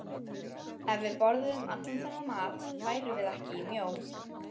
Ef við borðuðum allan þennan mat værum við ekki mjó.